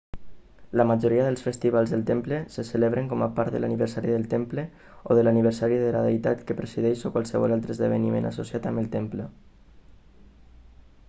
la majoria dels festivals del temple se celebren com a part de l'aniversari del temple o de l'aniversari de la deïtat que presideix o qualsevol altre esdeveniment associat amb el temple